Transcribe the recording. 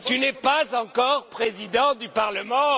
Tu n'es pas encore Président du Parlement!